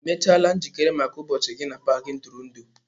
Ị mechaala njikere maka ụbọchị gị na paaki ntụrụndụ?